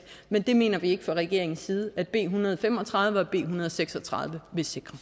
men det mener vi ikke fra regeringens side at b en hundrede og fem og tredive og b en hundrede og seks og tredive vil sikre